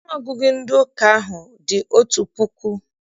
Ọnụọgụgụ ndị ụka ahụ dị otu puku.